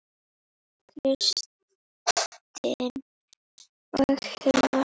Kristin og Hilmar.